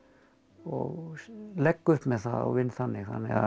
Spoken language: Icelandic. og legg upp með það og vinn þannig